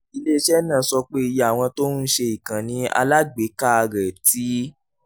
ilé iṣẹ́ náà sọ pé iye àwọn tó ń ṣe ìkànnì alágbèéká rẹ̀ ti